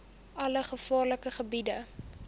alle gevaarlike gebiede